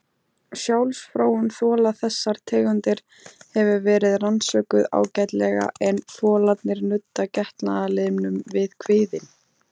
Sjálfsfróun fola þessara tegunda hefur verið rannsökuð ágætlega en folarnir nudda getnaðarlimnum við kviðinn.